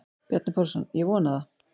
Bjarni Pálsson: Ég vona það.